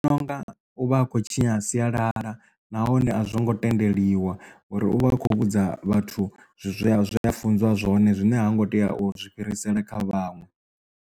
Ndi vhona unga u vha a khou tshinya sialala nahone a zwo ngo tendeliwa uri uvha a kho vhudza vhathu zwe a zwi funziwa zwone zwine ha ngo tea u zwi fhirisela kha vhaṅwe.